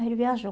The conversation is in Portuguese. Ele viajou.